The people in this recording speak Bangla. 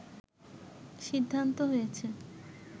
সিদ্ধান্ত হয়েছে